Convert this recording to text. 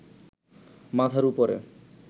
মাথার উপরে